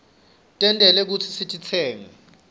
tentelwe kutsi sititsenge sigwke